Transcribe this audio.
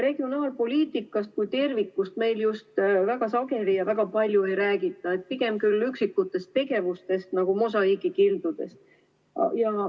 Regionaalpoliitikast kui tervikust meil just väga sageli ja väga palju ei räägita, pigem küll üksikutest tegevustest nagu mosaiigikildudest.